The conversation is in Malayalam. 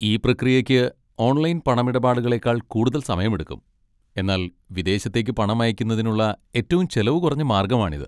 ഈ പ്രക്രിയയ്ക്ക് ഓൺലൈൻ പണമിടപാടുകളേക്കാൾ കൂടുതൽ സമയമെടുക്കും, എന്നാൽ വിദേശത്തേക്ക് പണം അയക്കുന്നതിനുള്ള ഏറ്റവും ചെലവ് കുറഞ്ഞ മാർഗ്ഗമാണിത്.